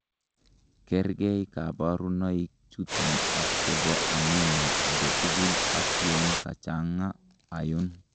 Kerkei koborunoikchuton ak chebo anemia agetukul ak yon kachang'a iron.